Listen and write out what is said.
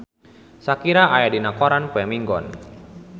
Shakira aya dina koran poe Minggon